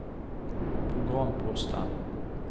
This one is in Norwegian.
programposten